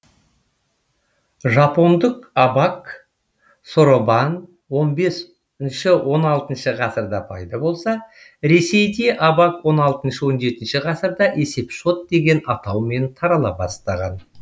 он алтыншы ғасырда пайда болса ресейде абак он алтыншы он жетінші ғасырда есепшот деген атаумен тарала бастаған